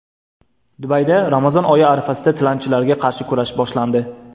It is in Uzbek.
Dubayda Ramazon oyi arafasida tilanchilarga qarshi kurash boshlandi.